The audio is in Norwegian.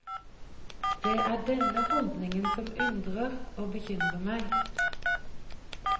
Det er denne holdningen som undrer og bekymrer meg.